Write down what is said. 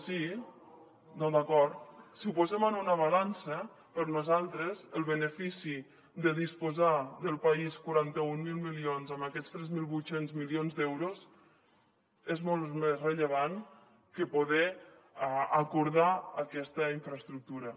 si ho posem en una balança per nosaltres el benefici de disposar el país de quaranta mil milions amb aquests tres mil vuit cents milions d’euros és molt més rellevant que poder acordar aquesta infraestructura